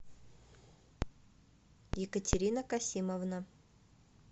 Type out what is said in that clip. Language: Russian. екатерина касимовна